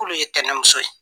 K'olu ye tɛnɛmuso ye.